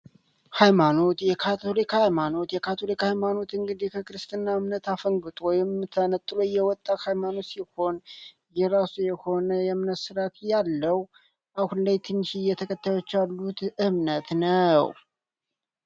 ሀይማኖት የካቶሊክ ሀይማኖት የካቶሊክ ሀይማኖት እንግዲህ ከክርስትና እምነት አፈንግጦ ወይም ተነጥሎ የወጣ ሀይማኖት ሲሆን የራሱ የሆነ የእምነት ስርዓት ያለው አሁን ላይ ትንሽዬ ተከታዮች ያሉት እምነት ነው።